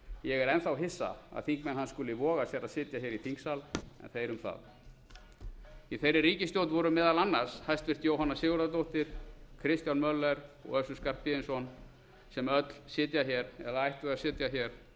ég er enn þá hissa að þingmenn hans skuli voga sér að sitja hér í þingsal en þeir um það í þeirri ríkisstjórn voru meðal annars hæstvirtur jóhanna sigurðardóttir kristján möller og össur skarphéðinsson sem öll sitja hér eða ættu að sitja hér